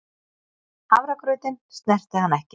Hafragrautinn snerti hann ekki.